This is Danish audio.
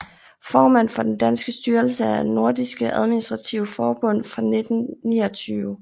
Formand for den danske styrelse af Nordiske Administrative Forbund fra 1929